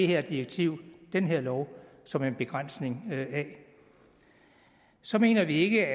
her direktiv den her lov som en begrænsning af så mener vi ikke